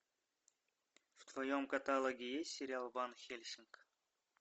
в твоем каталоге есть сериал ван хельсинг